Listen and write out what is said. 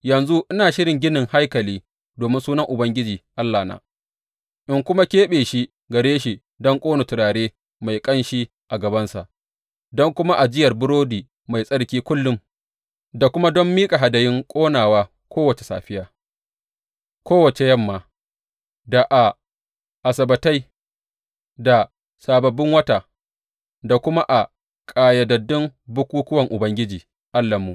Yanzu ina shirin ginin haikali domin Sunan Ubangiji Allahna, in kuma keɓe shi gare shi don ƙona turare mai ƙanshi a gabansa, don kuma ajiyar burodi mai tsarki kullum, da kuma don miƙa hadayun ƙonawa kowace safiya, kowace yamma, da a Asabbatai da Sababbin Wata, da kuma a ƙayyadaddun bukukkuwan Ubangiji Allahnmu.